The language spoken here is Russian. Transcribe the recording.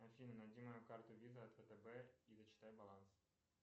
афина найди мою карту виза от втб и зачитай баланс